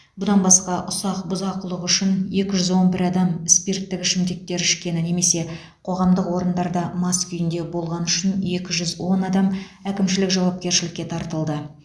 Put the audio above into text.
бұдан басқа ұсақ бұзақылық үшін екі жүз он бір адам спирттік ішімдіктер ішкені немесе қоғамдық орындарда мас күйінде болғаны үшін екі жүз он адам әкімшілік жауапкершілікке тартылды